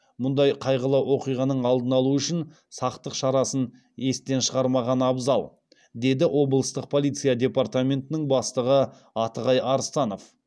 мұндай қайғылы оқиғаның алдын алу үшін сақтық шарасын естен шығармаған абзал деді облыстық полиция департаментінің бастығы атығай арыстанов